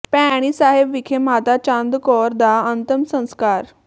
ਭੈਣੀ ਸਾਹਿਬ ਵਿਖੇ ਮਾਤਾ ਚੰਦ ਕੌਰ ਦਾ ਅੰਤਮ ਸੰਸਕਾਰ